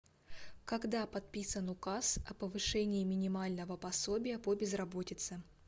когда подписан указ о повышении минимального пособия по безработице